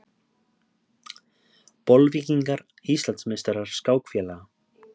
Bolvíkingar Íslandsmeistarar skákfélaga